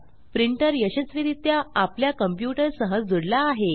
printer यशस्वीरित्या आपल्या computer सह जूडला आहे